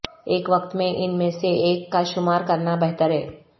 ایک وقت میں ان میں سے ایک کا شمار کرنا بہتر ہے